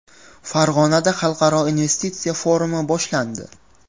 Farg‘onada xalqaro investitsiya forumi boshlandi .